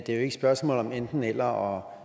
er et spørgsmål om enten eller og